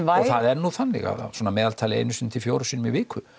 það er nú þannig að svona að meðaltali einu sinni til fjórum sinnum í viku